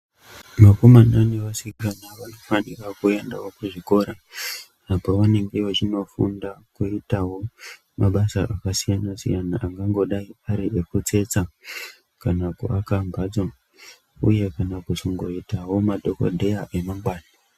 Vakomana nevasikana vanofana kuendawo kuzvikora, apo vanenge vachindofunda kuitawo mabasa akasiyana-siyana angangodai ekutsetsa, kana kuaka mphatso, uye kana kuzongoitawo madhokodheya emangwana.